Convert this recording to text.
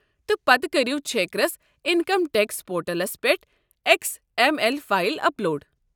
تہٕ پتہٕ کریو چھیكرس انکم ٹیکس پورٹلَس پٮ۪ٹھ X M L file up load.